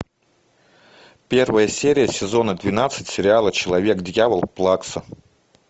первая серия сезона двенадцать сериала человек дьявол плакса